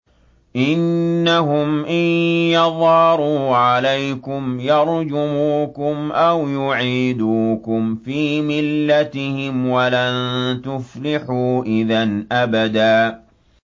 إِنَّهُمْ إِن يَظْهَرُوا عَلَيْكُمْ يَرْجُمُوكُمْ أَوْ يُعِيدُوكُمْ فِي مِلَّتِهِمْ وَلَن تُفْلِحُوا إِذًا أَبَدًا